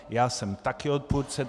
Já jsem také odpůrce.